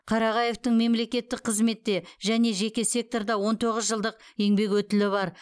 қарағаевтың мемлекеттік қызметте және жеке секторда он тоғыз жылдық еңбек өтілі бар